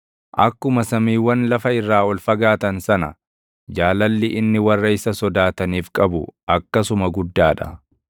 Akkuma samiiwwan lafa irraa ol fagaatan sana, jaalalli inni warra isa sodaataniif qabu akkasuma guddaa dha;